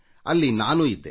ಅಲ್ಲಿ ನಾನೂ ಇದ್ದೆ